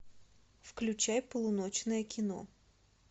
включай полуночное кино